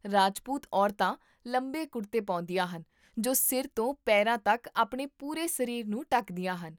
ਰਾਜਪੂਤ ਔਰਤਾਂ ਲੰਬੇ ਕੁੜਤੇ ਪਾਉਂਦੀਆਂ ਹਨ ਜੋ ਸਿਰ ਤੋਂ ਪੈਰਾਂ ਤੱਕ ਆਪਣੇ ਪੂਰੇ ਸਰੀਰ ਨੂੰ ਢੱਕਦੀਆਂ ਹਨ